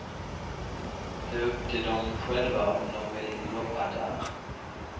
Det är upp till dom själva om dom vill jobba där.